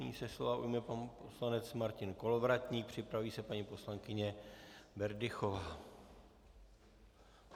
Nyní se slova ujme pan poslanec Martin Kolovratník, připraví se paní poslankyně Berdychová.